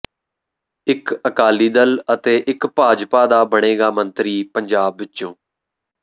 ਇੱਕ ਅਕਾਲੀ ਦਲ ਅਤੇ ਇੱਕ ਭਾਜਪਾ ਦਾ ਬਣੇਗਾ ਮੰਤਰੀ ਪੰਜਾਬ ਵਿੱਚੋਂ